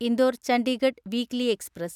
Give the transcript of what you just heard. Indore Chandigarh weekly express